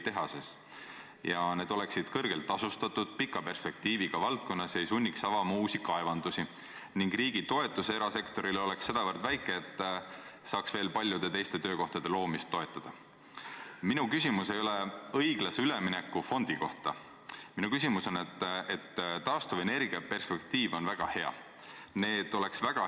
Aga anda nüüd, 20. aprillil kolm tilka verd ja öelda, et nafta hind on selline järgmised 15 aastat – ütleme, et tehas valmib 2024, pluss 15 aastat, paneme lõtku ka veel sisse, seega aastaks 2040 –, ma arvan, et seda küll keegi siin täna täpselt hinnata ei oska.